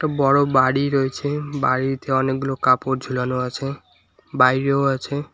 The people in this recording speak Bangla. বড় বাড়ি রয়েছে বাড়িতে অনেকগুলো কাপড় ঝোলানো আছে বাইরেও আছে।